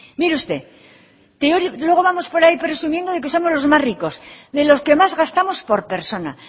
mire usted luego vamos por ahí presumiendo de que somos los más ricos de los que más gastamos por persona